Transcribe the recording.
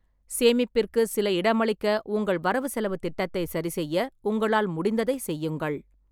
சேமிப்பிற்கு சில இடமளிக்க உங்கள் வரவுசெலவுத் திட்டத்தை சரிசெய்ய உங்களால் முடிந்ததைச் செய்யுங்கள்.